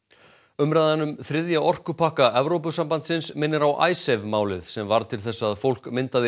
umræðan um þriðja orkupakka Evrópusambandsins minnir á Icesave málið sem varð til þess að fólk myndaði